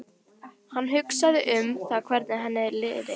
Hann hugsaði um það hvernig henni liði.